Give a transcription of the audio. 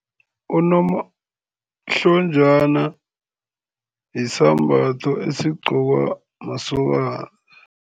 Unomahlonjana yisambatho esigqokwa masokana.